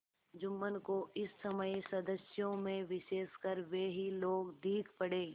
जुम्मन को इस समय सदस्यों में विशेषकर वे ही लोग दीख पड़े